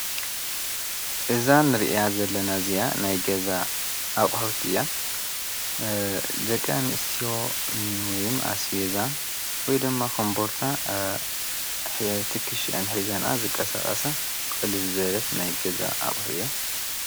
እዛን ርእያ ዘለናእዝያ ናይ ገዛ ኣቕሕት እያ ዘቀንኣቕሕእያኣስቤዛ ወይ ደማ ኾንበርታ ሕየውቲ ኽሽ አን ሕይዛንኣ ዝቃሣጣሳ ቕልል ዘለት ናይ ገዛ ኣቕሕእያ።